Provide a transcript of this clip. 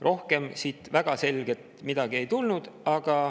Rohkem siit väga selget midagi ei tulnud.